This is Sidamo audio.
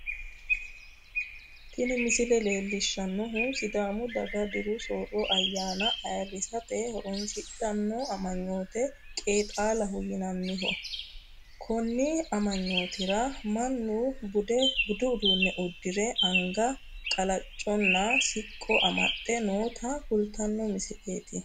Tini misile leellishshannohu sidaamu daga diru soorro ayyaana ayiirrisate horoonsidhanno amuraate qeexaalaho yinanniho konni amuraatira mannu budu uduunne uddire anga Qalacconna siqqubba amaxxe noota kultanno misileeti